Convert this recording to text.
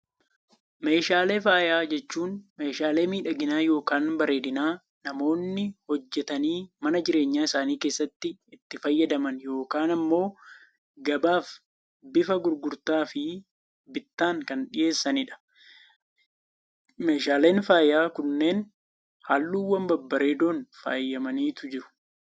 Meeshaalee faayaa jechuun, meeshaalee miidhaginaa yookaan bareedinaa namoonni hojjetanii mana jireenyaa isaanii keessatti itti fayyadaman yookaan immoo gabaaf bifa gurgurtaa fi bittaan kan dhiheessanidha. Meeshaaleen faayaa kunneen halluuwwan babbareedoon faayamaniitu jiru.